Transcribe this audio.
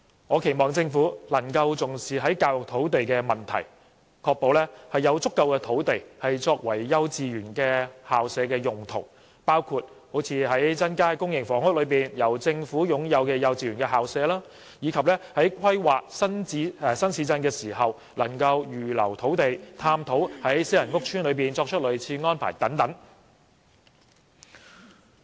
我期望政府能夠重視教育土地的問題，確保有足夠土地撥作幼稚園校舍的用途，包括增加公營房屋內由政府擁有的幼稚園校舍，以及在規劃新市鎮時預留土地，並探討在私人屋邨作出類似安排的可能性等。